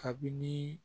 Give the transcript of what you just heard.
Kabini